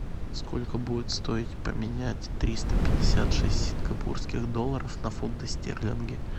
сколько будет стоить поменять триста пятьдесят шесть сингапурских долларов на фунты стерлинги